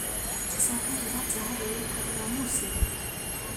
cicangagĩra atĩa harĩ ũikari wa mũcie?